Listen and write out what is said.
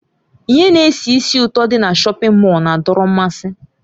Ihe na-esi ísì ụtọ dị na shọpin Mọll na-adọrọ mmasị.